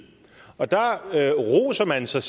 og der roser man sig